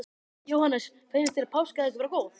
Jóhannes: Finnst þér páskaegg vera góð?